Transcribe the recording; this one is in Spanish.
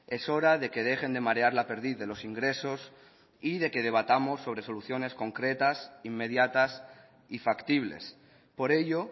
es hora de que dejen de marear la perdiz de los ingresos y de que debatamos sobre soluciones concretas inmediatas y factibles por ello